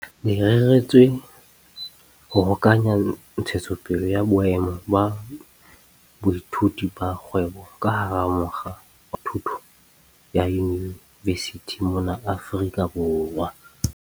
Le reretswe ho hokahanya ntshetsopele ya boemo ba boithuti ba kgwebo ka hara mokga wa thuto ya yunivesithi mona Afrika Borwa.